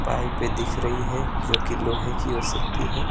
पाइपे दिख रही है जो कि लोहे कि हो सकती है।